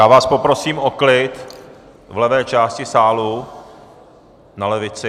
Já vás poprosím o klid v levé části sálu, na levici.